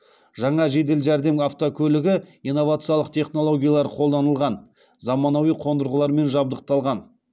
жаңа жедел жәрдем автокөлігі инновациялық технологиялар қолданылған заманауи қондырғылармен жабдықталған